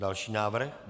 Další návrh.